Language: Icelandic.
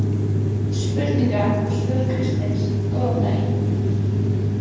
Spurningar og svör Kristins Góðan daginn!